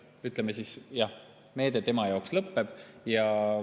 Jah, ütleme, meede tema jaoks lõpeb.